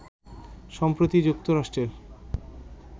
সম্প্রতি যুক্তরাষ্ট্রের